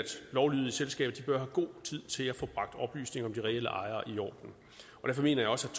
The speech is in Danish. lovlydige selskaber har god tid til at få bragt oplysningerne om de reelle ejere i orden derfor mener jeg også